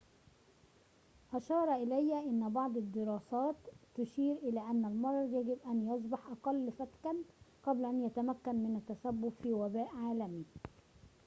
أشار إلى أن بعض الدراسات تشير إلى أن المرض يجب أن يصبح أقل فتكًا قبل أن يتمكن من التسبب في وباء عالمي